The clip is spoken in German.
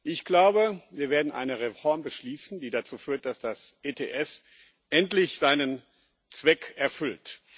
Ich glaube, wir werden eine Reform beschließen, die dazu führt, dass das ETS endlich seinen Zweck erfüllt.